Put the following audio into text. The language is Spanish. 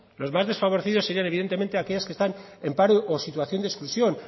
los más desfavorecidos serían evidentemente aquellas que están en paro o en situación de exclusión